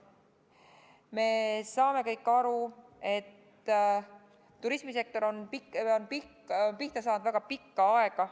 Me saame kõik aru, et turismisektor on pihta saanud väga pikka aega.